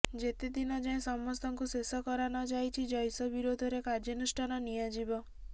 ଯେତେଦିନ ଯାଏଁ ସମସ୍ତଙ୍କୁ ଶେଷ କରା ନଯାଇଛି ଜୈଶ ବିରୋଧରେ କାର୍ୟ୍ୟାନୁଷ୍ଠାନ ନିଆଯିବ